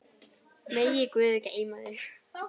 Megi guð geyma þig.